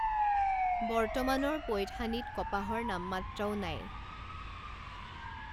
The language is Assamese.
বৰ্তমানৰ পৈথানীত কপাহৰ নামমাত্ৰও নাই।